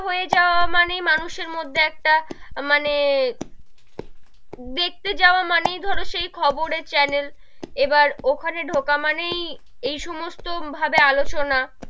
হয়ে যাওয়া মানেই মানুষের মধ্যে একটা মানে, দেখতে যাওয়া মানেই ধরো সেই খবরের channel এবার ওখানে ধোকা মানেই, এই সমস্ত ভাবে আলোচনা,